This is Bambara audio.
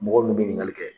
Mɔgɔ min bɛ ɲininkali kɛ